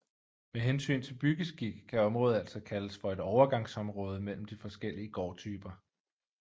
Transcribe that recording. Med hensyn til byggeskik kan området altså kaldes for et overgangsområde mellem de forskellige gårdtyper